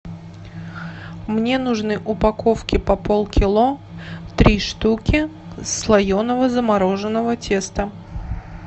мне нужны упаковки по полкило три штуки слоеного замороженного теста